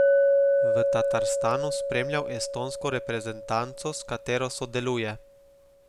V Tatarstanu spremljal estonsko reprezentanco, s katero sodeluje.